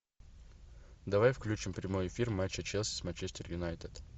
давай включим прямой эфир матча челси с манчестер юнайтед